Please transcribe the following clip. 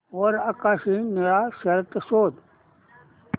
वर आकाशी निळा शर्ट शोध